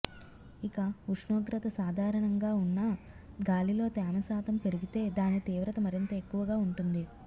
ఇక ఉష్ణోగ్రత సాధారణంగా ఉన్నా గాలిలో తేమ శాతం పెరిగితే దాని తీవ్రత మరింత ఎక్కువగా ఉంటుంది